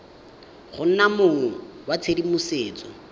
go nna mong wa tshedimosetso